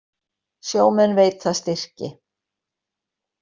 Sjómenn veita styrki